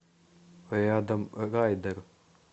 рядом райдер